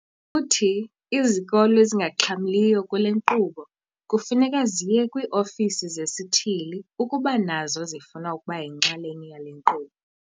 Uthi izikolo ezingaxhamliyo kule nkqubo kufuneka ziye kwii-ofisi zesithili ukuba nazo zifuna ukuba yinxalenye yale nkqubo.